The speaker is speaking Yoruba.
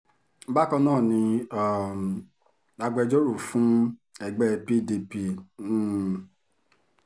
bákan náà ni um agbẹjọ́rò fún ẹgbẹ́ pdp n